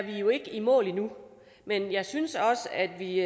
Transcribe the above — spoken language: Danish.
i mål endnu men jeg synes at vi